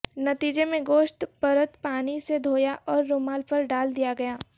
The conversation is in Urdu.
نتیجے میں گوشت پرت پانی سے دھویا اور رومال پر ڈال دیا گیا تھا